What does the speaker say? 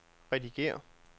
redigér